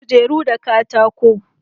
Na yi kujeru da katako